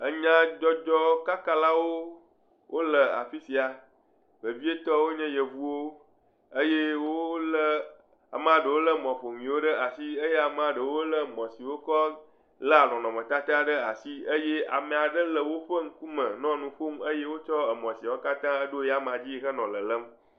Enyadzɔdzɔkakalawo wole afi sia. Vevietɔe nye Yevuwo eye wolé, ame aɖewo lé mɔƒonuwo ɖe asi eye ame aɖewo lé mɔ siwo wokɔ léa nɔnɔmetata ɖe asi eye ame aɖe le woƒe ŋkume nɔ nu ƒom eye wokɔ mɔ siawo da ɖe eya meadzi hɔnɔ lelém